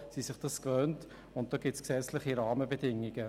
Sie sind sich das gewohnt und dafür gibt es gesetzliche Rahmenbedingungen.